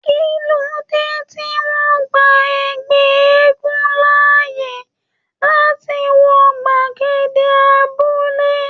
Kilode tí wọn gbà ẹgbẹ eégún láàyè láti wọ gbagede abúlé?